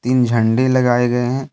तीन झंडे लगाए गए हैं।